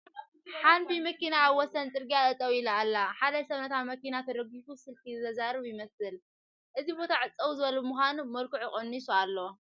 ሓንቢ መኪና ኣብ ወሰን ፅርጊያ ጠጠው ኢላ ኣላ ፡፡ ሓደ ሰብ ነታ መኪና ተደጊፉ ስልኪ ዘዘራርብ ይመስል ኣሎ፡፡ እዚ ቦታ ፀው ዝበለ ብምዃኑ መልክዑ ቀኒሱ ኣሎ፡፡